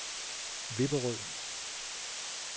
Vipperød